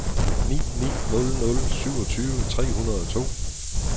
ni ni nul nul syvogtyve tre hundrede og to